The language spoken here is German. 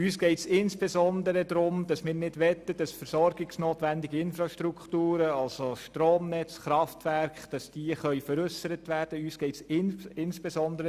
Wir möchten insbesondere nicht, dass versorgungsnotwendige Infrastrukturen wie Stromnetz und Kraftwerke veräussert werden können.